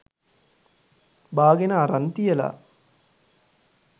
බාගෙන අරන් තියල